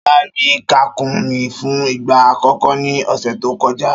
Ṣọlá rí kàkúnmí fún ìgbà àkọ́kọ́ ní ọ̀sẹ̀ tó kọjá.